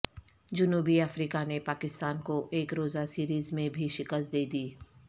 جنوبی افریقہ نے پاکستان کو یک روزہ سیریز میں بھی شکست دے دی